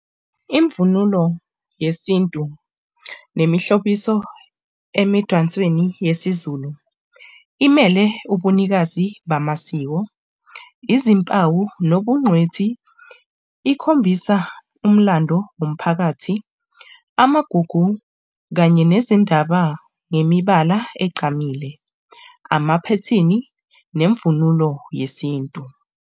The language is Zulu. Imvunulo yesintu nemihlobiso emidansweni yesiZulu imele ubunikazi bamasiko, izimpawu nobungqwethi, ikhombisa umlando womphakathi, amagugu kanye nezindaba nemibala egqamile, amaphethini nemvunulo yesintu.